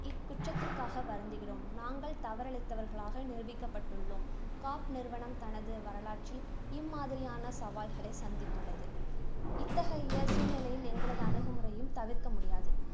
இக்குற்றத்திற்காக வருந்துகிறோம். நாங்கள் தவறிழைத்தவர்களாக நிரூபிக்கப்பட்டுள்ளோம். காப் நிறுவனம், தனது வரலாற்றில் இம்மாதிரியான சலால்களை சந்தித்துள்ளது. இத்தகைய சூழ்நிலையில் எங்களது அணுகுமுறையும் தவிர்க்க முடியாது.